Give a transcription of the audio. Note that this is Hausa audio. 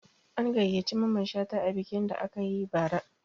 An gayyaci Mamman Shata a bikin da aka yi bara